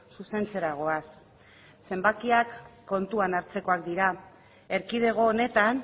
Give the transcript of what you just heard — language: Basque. zuzentzera goaz zenbakiak kontuan hartzekoak dira erkidego honetan